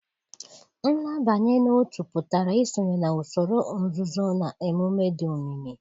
Nlabanye n'otu pụtara isonye na usoro nzuzo na emume dị omimi.